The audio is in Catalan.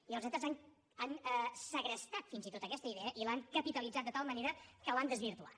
i els estats han segrestat fins i tot aquesta idea i l’han capitalitzat de tal manera que l’han desvirtuat